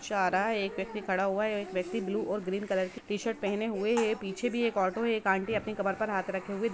rickshaw आ रहा है एक व्यक्ति खड़ा हुआ है और एक व्यक्ति ब्लू और ग्रीन कलर की टीशर्ट पहने हुए है पीछे भी एक ओटो अपनी कमर पे हाथ रखे हुए --